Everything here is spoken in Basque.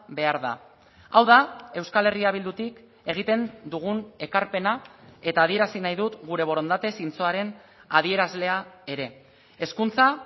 behar da hau da euskal herria bildutik egiten dugun ekarpena eta adierazi nahi dut gure borondate zintzoaren adierazlea ere hezkuntza